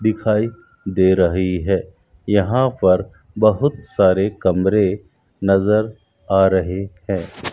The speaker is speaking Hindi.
दिखाई दे रही है यहां पर बहुत सारे कमरे नजर आ रहे हैं।